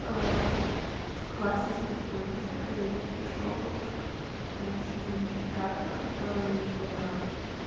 ээ к власти в южной корее пришёл ээ сильный диктатор который